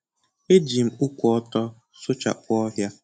E ji m ụkwụ ọtọ sụchapụ ohia.